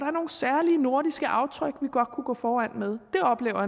er nogle særlige nordiske aftryk vi godt kunne gå foran med det oplever